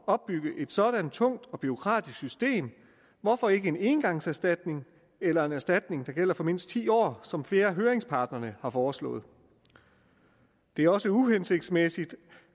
opbygge et sådant tungt og bureaukratisk system hvorfor ikke en engangserstatning eller en erstatning der gælder for mindst ti år som flere af høringsparterne har foreslået det er også uhensigtsmæssigt